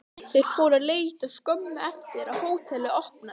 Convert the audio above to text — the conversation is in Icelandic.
Þeir fóru að leita skömmu eftir að hótelið var opnað.